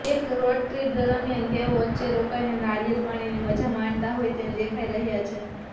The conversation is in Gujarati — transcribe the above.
એક રોડટ્રિપ દરમિયાન તેઓ વચ્ચે રોકાઈને નારીયળ પાણીની મજા માણતા હોય તેમ દેખાય રહ્યા છે